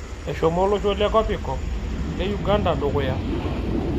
Eshomo olosho le kopikop le Uganda dukuya